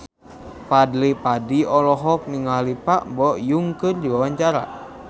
Fadly Padi olohok ningali Park Bo Yung keur diwawancara